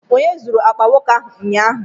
Onye zuru akpa nwoke ahụ ụnyaahụ?